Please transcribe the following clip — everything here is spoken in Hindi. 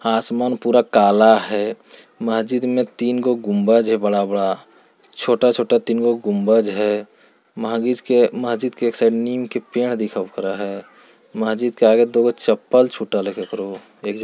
आसमान पूरा काला हैं महजिद में तीन गो गुम्बज हैं बड़ा-बड़ा छोटा-छोटा तीन गो गुम्बज हैं महबीज-महजिद के एक साइड नीम के पेड़ दिखल करे हैं। महजिद के आगे दुगो चप्पल छूटल है केकोरो--